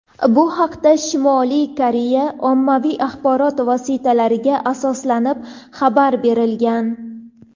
Bu haqda Shimoliy Koreya ommaviy axborot vositalariga asoslanib xabar berilgan.